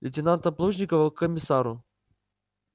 лейтенанта плужникова к комиссару